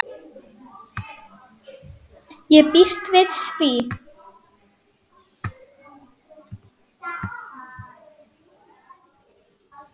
Ég býst við því!